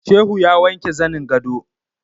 Shehu ya wanke zanin gado